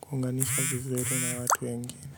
kuunganisha vizuri na watu wengine.